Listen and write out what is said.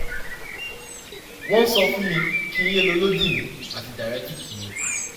wọ́n sọ fún mi kí n yé lo lodein àti diaretic mi